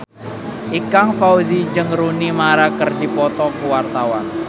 Ikang Fawzi jeung Rooney Mara keur dipoto ku wartawan